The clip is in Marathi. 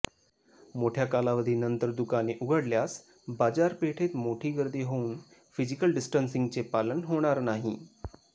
मोठ्या कालावधीनंतर दुकाने उघडल्यास बाजारपेठेत मोठी गर्दी होवून फिजिकल डिस्टन्सिंगचे पालन होणार नाही